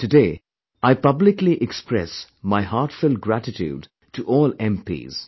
Today, I publicly express my heartfelt gratitude to all MP's